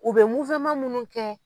U bɛ minnu kɛ.